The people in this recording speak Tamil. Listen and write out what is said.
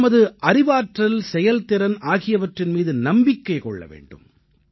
நாம் நமது அறிவாற்றல் செயல்திறன் ஆகியவற்றின் மீது நம்பிக்கை கொள்ள வேண்டும்